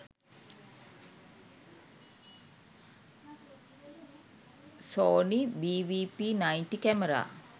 sony bvp 90 camera